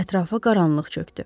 Ətrafa qaranlıq çökdü.